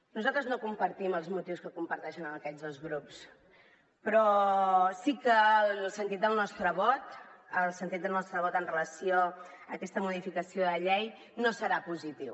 nosaltres no compartim els motius que comparteixen aquests dos grups però sí que el sentit del nostre vot amb relació a aquesta modificació de llei no serà positiu